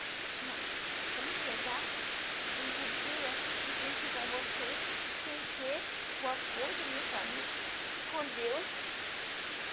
Para mim chegar, eu não podia estar com vocês sem ter o apoio da minha família, com Deus.